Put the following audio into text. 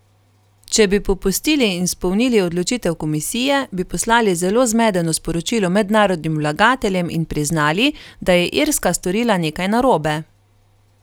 Če bi popustili in izpolnili odločitev komisije, bi poslali zelo zmedeno sporočilo mednarodnim vlagateljem in priznali, da je Irska storila nekaj narobe.